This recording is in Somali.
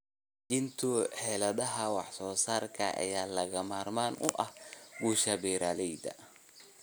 Dejinta xeeladaha wax-soo-saarka ayaa lagama maarmaan u ah guusha beeralayda.